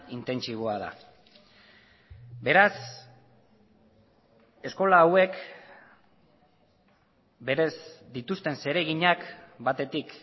intentsiboa da beraz eskola hauek berez dituzten zereginak batetik